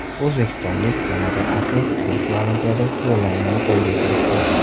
O‘zbekistonlik yana bir atlet Tokio Olimpiadasiga yo‘llanmani qo‘lga kiritdi.